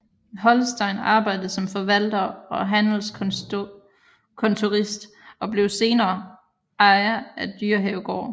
Holstein arbejdede som forvalter og handelskontorist og blev sener ejer af Dyrehavegård